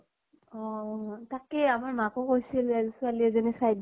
অহ অহ তাকে আমাৰ মাকো কৈছিলে ছোৱালী এজনী চাই